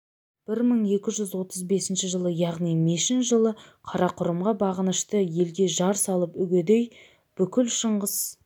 бір мың екі жүз отыз бесінші жылы яғни мешін жылы қарақұрымға бағынышты елге жар салып үгедей бүкіл шыңғыс